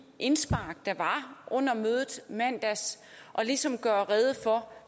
indspark der var under mødet i mandags og ligesom gøre rede for